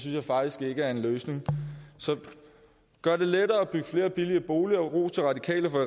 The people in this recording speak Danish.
jeg faktisk ikke er en løsning så gør det lettere at bygge flere billige boliger og ros til radikale for